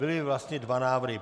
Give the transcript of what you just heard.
Byly vlastně dva návrhy.